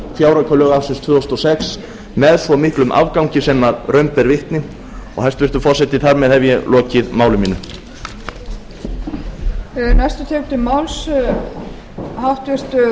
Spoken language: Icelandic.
fjáraukalög ársins tvö þúsund og sex með svo miklum afgangi sem raun ber vitni og hæstvirtur forseti þar með hef ég lokið máli mínu